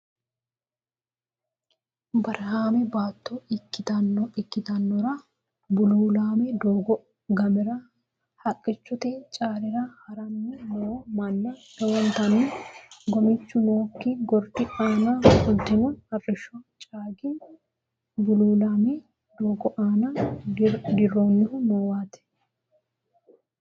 Barahaame baatto ikkitinora bululaame doogo gamira haqqichote caalira haranni noo mannaa lowontanni gomichu nookki gordi aana fultino arrisho caangi bululaame doogo aana dirrinohu noowaati.